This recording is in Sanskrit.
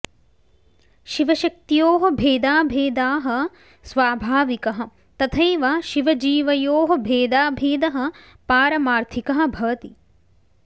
शिवशक्त्योः भेदाभेदाः स्वाभाविकः तथैव शिवजीवयोः भेदाभेदः पारमार्थिकः भवति